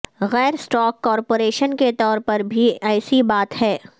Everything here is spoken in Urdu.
غیر اسٹاک کارپوریشن کے طور پر بھی ایسی بات ہے